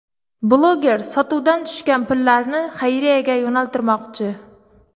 Bloger sotuvdan tushgan pullarni xayriyaga yo‘naltirmoqchi.